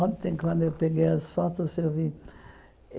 Ontem, quando eu peguei as fotos, eu vi.